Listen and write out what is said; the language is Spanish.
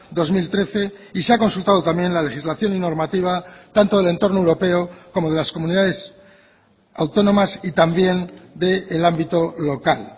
dos mil trece y se ha consultado también la legislación y normativa tanto del entorno europeo como de las comunidades autónomas y también del ámbito local